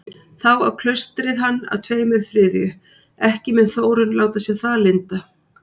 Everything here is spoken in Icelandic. Þá á klaustrið hann að tveimur þriðju, ekki mun Þórunn láta sér það lynda.